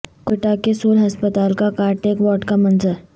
کوئٹہ کے سول ہسپتال کا کارڈیک وارڈ کا منظر